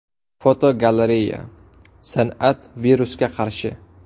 Fotogalereya: San’at virusga qarshi.